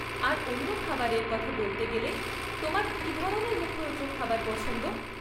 আর অন্য খাবারের কথা বলতে গেলে, তোমার কী ধরনের মুখরোচক খাবার পছন্দ?